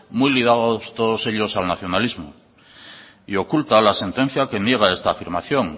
muy ligados todos ellos al nacionalismo y oculta la sentencia que niega esta afirmación